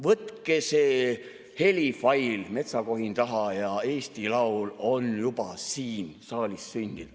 Võtke see helifail, metsakohin taha, ja Eesti laul on juba siin saalis sündinud.